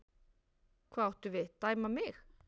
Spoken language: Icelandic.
Hvað áttu við, dæma mig?